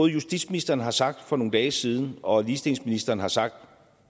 justitsministeren har sagt for nogle dage siden og ligestillingsministeren har sagt